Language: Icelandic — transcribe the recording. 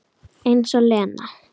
Eins og Lena!